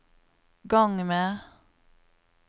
gang med